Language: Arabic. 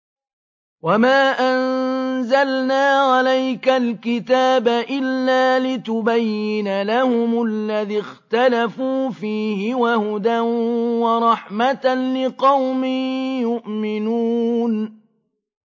وَمَا أَنزَلْنَا عَلَيْكَ الْكِتَابَ إِلَّا لِتُبَيِّنَ لَهُمُ الَّذِي اخْتَلَفُوا فِيهِ ۙ وَهُدًى وَرَحْمَةً لِّقَوْمٍ يُؤْمِنُونَ